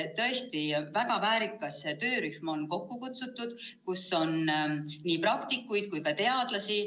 Tõesti, väga väärikas töörühm on kokku kutsutud, seal on nii praktikuid kui ka teadlasi.